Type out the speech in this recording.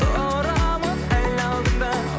тұрамын әлі алдыңда